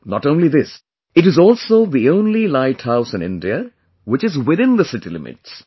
Not only this, it is also the only light house in India which is within the city limits